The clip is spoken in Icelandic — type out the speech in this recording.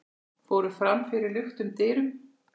fóru fram fyrir luktum dyrum.